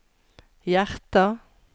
hjerter